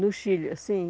No Chile, sim.